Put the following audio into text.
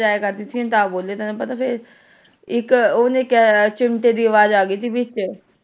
ਆਏ ਕਰਦੀ ਸੀ ਤਾਂ ਬੋਲੇ ਦੀ ਇੱਕ ਉਹ ਨੀ ਇੱਕ ਚਿਮਟੇ ਦੀ ਅਵਾਜ਼ ਆ ਗਈ ਸੀ ਵਿੱਚ।